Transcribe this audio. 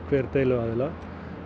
hver deiluaðila